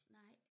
Nej